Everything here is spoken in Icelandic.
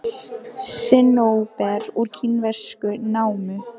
Sinnóber úr kínverskri námu.